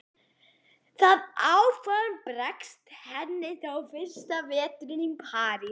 Það áform bregst henni þó fyrsta veturinn í París.